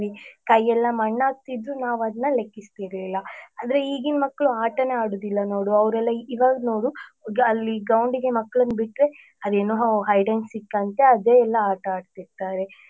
ಕೈ ಎಲ್ಲ ಮಣ್ಣಾಗ್ತಿದ್ರು ನಾವ್ ಅದ್ನ ಲೆಕ್ಕಿಸ್ತಿರ್ಲಿಲ್ಲ ಅಂದ್ರೆ ಈಗಿನ ಮಕ್ಳು ಆಟನೇ ಆಡುದಿಲ್ಲ ನೋಡು ಅವ್ರೆಲ್ಲಾ ಇವಾಗ್ ನೋಡು ಅಲ್ಲಿ groundಗೆ ಮಕ್ಳನ್ನ ಬಿಟ್ರೆ ಅದೇನೋ hide and seek ಅಂತೆ ಅದೆ ಎಲ್ಲ ಆಟಾಡ್ತಿರ್ತಾರೆ.